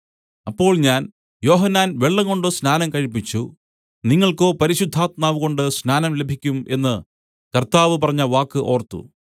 അപ്പോൾ ഞാൻ യോഹന്നാൻ വെള്ളംകൊണ്ട് സ്നാനം കഴിപ്പിച്ചു നിങ്ങൾക്കോ പരിശുദ്ധാത്മാവുകൊണ്ടു സ്നാനം ലഭിക്കും എന്നു കർത്താവ് പറഞ്ഞവാക്ക് ഓർത്തു